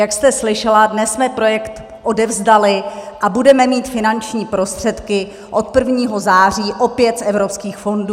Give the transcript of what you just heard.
Jak jste slyšela, dnes jsme projekt odevzdali a budeme mít finanční prostředky od 1. září opět z evropských fondů.